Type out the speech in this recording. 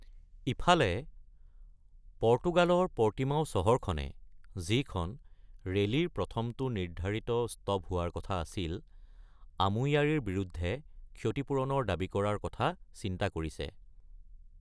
ইফালে, পৰ্তুগালৰ পৰ্টিমাও চহৰখনে, যিখন ৰেলীৰ প্ৰথমটো নিৰ্ধাৰিত ষ্টপ হোৱা কথা আছিল, আমুয়াৰীৰ বিৰুদ্ধে ক্ষতিপূৰণৰ দাবী কৰাৰ কথা চিন্তা কৰিছে।